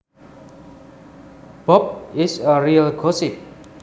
Bob is a real gossip